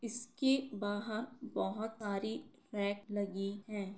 इसके वहाँ बहुत साड़ी रैक लगी हैं।